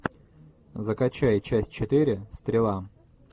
закачай часть четыре стрела